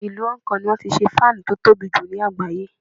Ìlú Hong Kong ni wọ́n ti ṣe fáánù tó tobì jù ní àgbáyé.